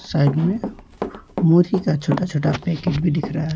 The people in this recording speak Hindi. साइड में का छोटा छोटा पैकेट भी दिख रहा है।